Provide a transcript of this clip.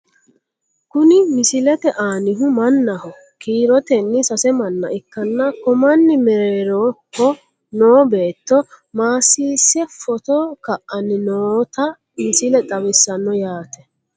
Kuni misilete aanihu mannaho kiiritenni sase manna ikkanna ko manni mereeroho no beetto maasiise footo ka'anni noota misile xawissanno yaate.